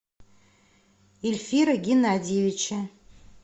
ильфира геннадьевича